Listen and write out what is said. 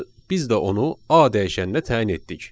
Biz də onu A dəyişəninə təyin etdik.